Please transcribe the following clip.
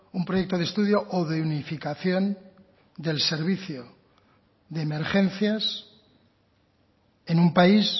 un proyecto de estudio o de unificación del servicio de emergencias en un país